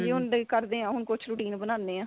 ਹੁਣ ਕਰਦੇ ਆ ਕੁੱਝ routine ਬਣਾਂਦੇ ਆ